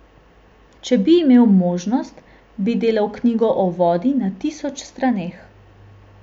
Če bi imel možnost, bi delal knjigo o vodi na tisoč straneh.